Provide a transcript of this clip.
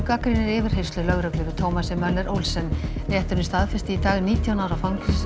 gagnrýnir yfirheyrslur lögreglu yfir Thomasi Möller Olsen rétturinn staðfesti í dag nítján ára